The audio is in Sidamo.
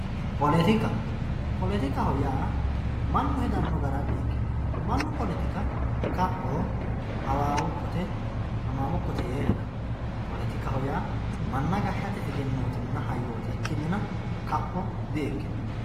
poletika poletikaho yaa mnnu hedanno gara di"ikiyo mannu poletika kaphoho, hawaawukkote, hamaamukkote yee heda poletikaho yaa manna gashshate egenootinna hayyooti ikkinnina kapho di"ikino.